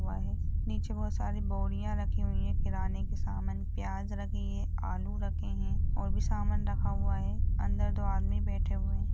हुआ है नीचे बहोत सारी बोरियां रखी हुई है किराने के सामान प्याज रखे हैं आलू रखे हैं और भी सामान रखा हुआ है अंदर दो आदमी बैठे हुए हैं।